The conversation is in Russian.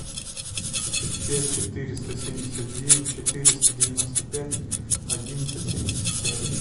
пять четыреста семьдесят девять четыреста девяносто пять одиннадцать семьдесят пять